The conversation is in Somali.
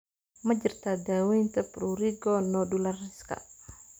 Ma jirtaa daawaynta prurigo nodulariska?